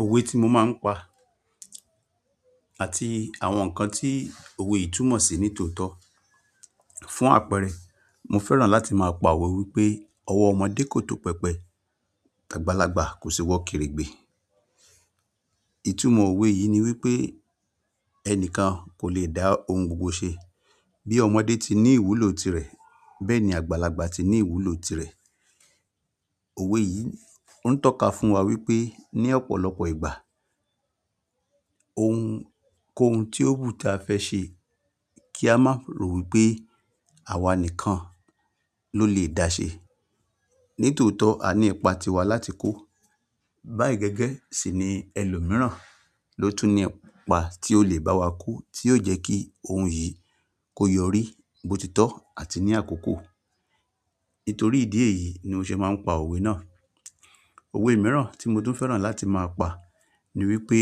Òwe tí mo máa ń pa àti àwọn nǹkan tí òwe yì túmọ̀ ṣi nítòótó. Fún àpẹẹrẹ, mo fẹ́ràn láti máa pa òwe wípé ọwọ́ ọmọdé kò tó pẹpẹ, t'àgbàlagbà kò sí wọ keregbé. Ìtumọ̀ òwe yìí ni wípé ẹnìkan kò le dá ohun gbogbo ṣe. Bí ọmọdé ti ní ìwúlò tirẹ̀, bẹ́ẹ̀ ni àgbàlagbà ti ní ìwúlò tirẹ̀. Òwe yìí oun tọ́ka fún wa wípé ní ọ̀pọ̀lọpọ̀ ìgbà ohun kóhun tí ó wù tí a fẹ́ ṣe kí a má rò wípé àwa nìkan ló lè dá ṣe. Nítòótó a ní ipa tiwa láti kó. Bá i gẹ́gẹ́ sì ni ẹlòmíràn ló tún ní ipa tí ó lè bá wa kó tí yóò jẹ́ kí ohun yìí kó yọrí botitọ́ àti ní àkókò. Nítorí ìdí èyí ni mo ṣe máa ń pa òwe náà. Òwe mìíràn tí mo tún fẹ́ràn láti máa pa ni wípé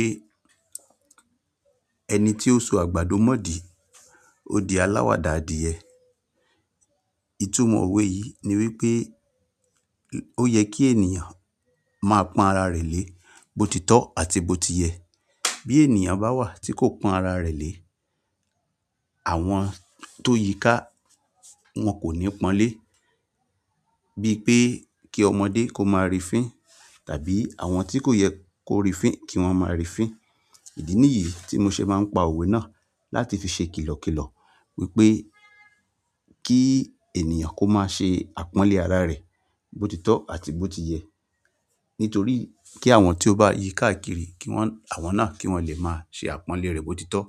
ẹni tí ó so àgbàdo mọ́ di, ó di aláwàdà adìẹ. Ìtumọ̀ òwe yìí ni wípé ó yẹ kí ènìyàn máa pọ́n ara rẹ̀ lé botitọ́ àti boti yẹ. Bí ènìyàn bá wà tí kò pọ́n ara rẹ̀ lé, àwọn tó yíká wọn kò ní pọ́n lé. Bí pé kí ọmọdé kó máa rí fín tàbí àwọn tí kò yẹ kó rí fín kí wọ́n máa rí fín. Ìdí nìyí tí mo ṣe máa ń pa òwe náà láti fi ṣe kìlọ̀kìlọ̀ wípé kí ènìyàn kó má ṣe àpọ́nlé ara rẹ botitọ́ àti boti yẹ. Nítorí kí àwọn tí ó bá yí káàkiri kí wọ́n, àwọn náà kí wọ́n lè máa ṣe àpọ́nlé rẹ̀ botitọ́.